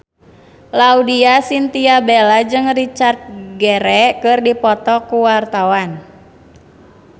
Laudya Chintya Bella jeung Richard Gere keur dipoto ku wartawan